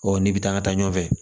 Ɔ n'i bɛ taa n ka taa ɲɔgɔn fɛ